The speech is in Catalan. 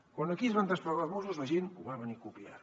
quan aquí es van desplegar els mossos la gent ho va venir a copiar